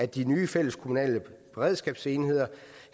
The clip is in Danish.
de nye fælleskommunale beredskabsenheder